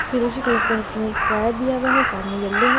फिरोजी कलर का इसमें एक वायर दिया हुआ है सामने यल्लो है।